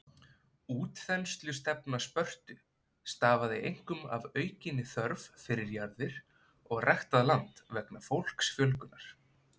Útþenslustefna Spörtu stafaði einkum af aukinni þörf fyrir jarðir og ræktað land vegna fólksfjölgunar.